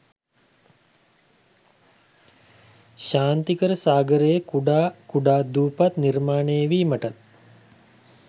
ශාන්තිකර සාගරයේ කුඩා කුඩා දූපත් නිර්මාණය වීමටත්